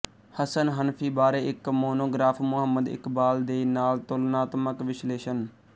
ਹਸਨ ਹਨਫ਼ੀ ਬਾਰੇ ਇੱਕ ਮੋਨੋਗਰਾਫ਼ ਮੁਹੰਮਦ ਇਕਬਾਲ ਦੇ ਨਾਲ ਤੁਲਨਾਤਮਕ ਵਿਸ਼ਲੇਸ਼ਣ